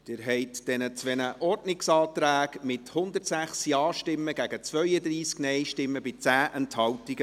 Sie haben diesen zwei Ordnungsanträgen zugestimmt, mit 106 Ja- gegen 32 NeinStimmen bei 10 Enthaltungen.